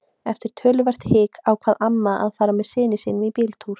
Eftir töluvert hik ákvað amma að fara með syni sínum í bíltúr.